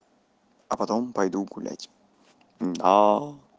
а потом пойду гулять да